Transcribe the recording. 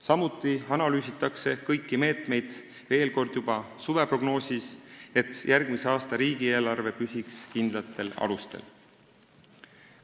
Samuti analüüsitakse kõiki meetmeid veel kord juba suveprognoosis, et järgmise aasta riigieelarve püsiks kindlatel alustel.